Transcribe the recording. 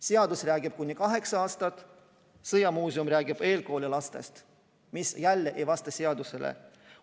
Seadus ütleb "kuni 8-aastane laps", Sõjamuuseum räägib eelkooliealistest lastest, mis jälle ei vasta seadusele.